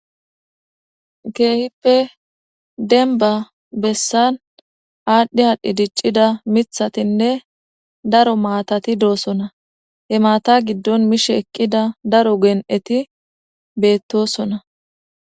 Keehippe denba bessan aadhdhi haadhdhi diccida mithatinne daro maatati doosona hemaata giddon mishe eqqida daro gen'eti beettosona